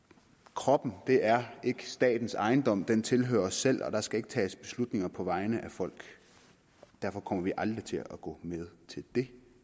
kroppen er ikke statens ejendom den tilhører os selv og der skal ikke tages beslutninger på vegne af folk derfor kommer vi aldrig til at gå med til det